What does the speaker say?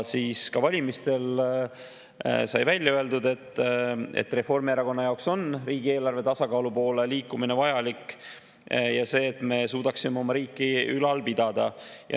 Ka valimiste ajal sai välja öeldud, et Reformierakonna jaoks on riigieelarve tasakaalu poole liikumine vajalik selleks, et me suudaksime oma riiki ülal pidada.